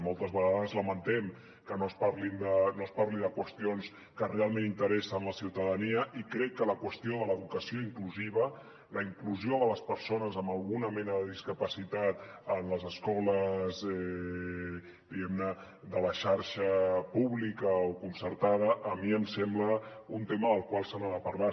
moltes vegades lamentem que no es parli de qüestions que realment interessen la ciutadania i crec que la qüestió de l’educació inclusiva la inclusió de les persones amb alguna mena de discapacitat en les escoles diguem ne de la xarxa pública o concertada a mi em sembla un tema del qual s’ha de parlar